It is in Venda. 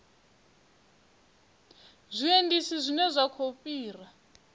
zwiendisi zwine zwa khou fhira